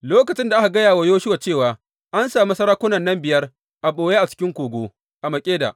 Lokacin da aka gaya wa Yoshuwa cewa an sami sarakunan nan biyar a ɓoye a cikin kogo a Makkeda.